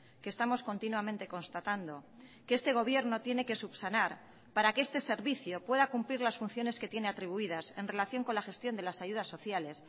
que estamos continuamente constatando que este gobierno tiene que subsanar para que este servicio pueda cumplir las funciones que tiene atribuidas en relación con la gestión de las ayudas sociales